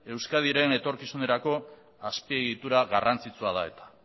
euskadiren etorkizunerako azpiegitura garrantzitsua da eta